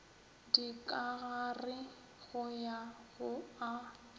dikagare go ya go a